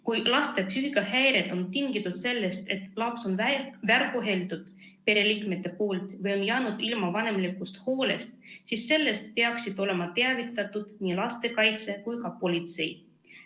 Kui lapse psüühikahäired on tingitud sellest, et pereliikmed on teda väärkohelnud või ta on jäänud ilma vanemlikust hoolest, siis sellest peaksid olema teavitatud nii lastekaitse kui ka politsei.